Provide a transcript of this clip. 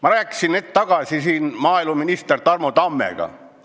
Ma rääkisin hetk tagasi maaeluminister Tarmo Tammega.